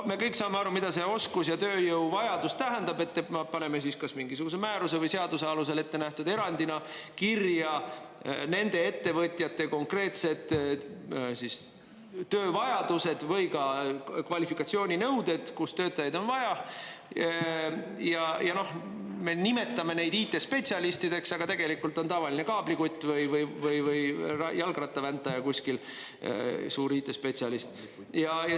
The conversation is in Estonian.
Me kõik saame aru, mida see oskuste ja tööjõu vajadus tähendab, et paneme siis kas mingisuguse määruse või seaduse alusel ettenähtud erandina kirja nende ettevõtjate konkreetsed töövajadused või ka kvalifikatsiooninõuded, kus töötajaid on vaja, ja me nimetame neid IT-spetsialistideks, aga tegelikult on tavaline kaablikutt või jalgrattaväntaja kuskil, suur IT-spetsialist.